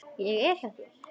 Ég er hjá þér.